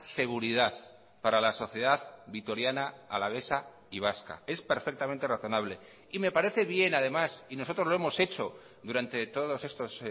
seguridad para la sociedad vitoriana alavesa y vasca es perfectamente razonable y me parece bien además y nosotros lo hemos hecho durante todos estos